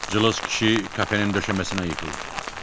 Cılız kişi kafenin döşəməsinə yıxıldı.